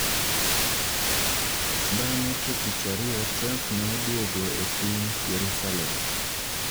Bang'e to tich ariyo Trump ne odwogo epiny Jerusalem.